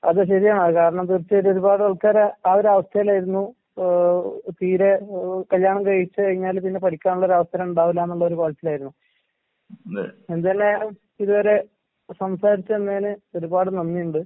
അതെ ശെരിയാണ്, അത് കാരണം തീർച്ചയായിട്ടും ഒരുപാടാൾക്കാര് ആ ഒരവസ്ഥേലായിരുന്നു. ഏഹ് തീരെ ഏഹ് കല്യാണം കഴിച്ച് കഴിഞ്ഞാല് പിന്നെ പഠിക്കാനുള്ളൊരവസരം ഇണ്ടാവില്ലാന്നുള്ളൊരു പറച്ചിലായിരുന്നു. എന്തായാലും ഇതുവരെ സംസാരിച്ച് നിന്നതിന് ഒരുപാട് നന്ദിയുണ്ട്.